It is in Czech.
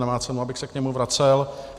Nemá cenu, abych se k němu vracel.